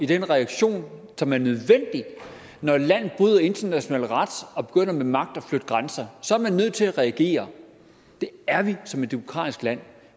den reaktion som er nødvendig når et land bryder international ret og begynder med magt at flytte grænser så er man nødt til at reagere det er vi som et demokratisk land